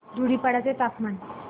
धुडीपाडा चे तापमान